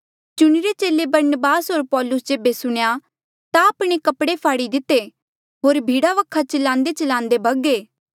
चुणिरे चेले बरनबास होर पौलुस जेबे सुणेया ता आपणे कपड़े फाड़ी दिते होर भीड़ा वखा चिलांदेचिलांदे भगे